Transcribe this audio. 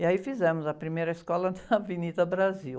E aí fizemos a primeira escola na Avenida Brasil.